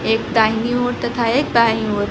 एक दाहिनी ओर तथा एक दाई ओर--